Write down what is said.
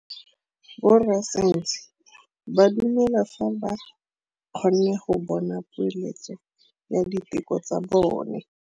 Borra saense ba dumela fela fa ba kgonne go bona poeletsô ya diteko tsa bone.